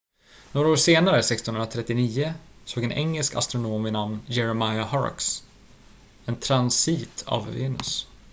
några år senare 1639 såg en engelsk astronom vid namn jeremiah horrocks en transit av venus